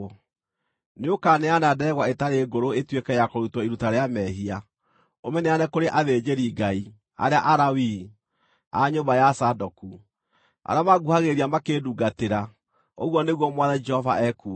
Nĩũkaneana ndegwa ĩtarĩ ngũrũ ĩtuĩke ya kũrutwo iruta rĩa mehia, ũmĩneane kũrĩ athĩnjĩri-Ngai, arĩa Alawii, a nyũmba ya Zadoku, arĩa manguhagĩrĩria makĩndungatĩra, ũguo nĩguo Mwathani Jehova ekuuga.